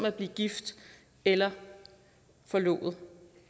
at blive gift eller forlovet